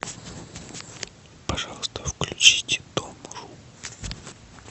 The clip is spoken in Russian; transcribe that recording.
пожалуйста включите дом ру